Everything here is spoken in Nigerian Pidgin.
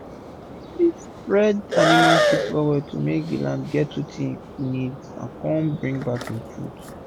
dem dey spread animal shit well well to make land get wetin e need and con bring back im food.